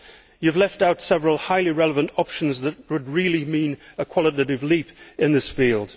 You have left out several highly relevant options that would really mean a qualitative leap in this field.